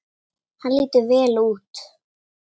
Hann lítur vel út.